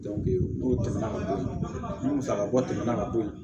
n'o tɛmɛna ka bɔ yen ni musakako tɛmɛna ka bɔ yen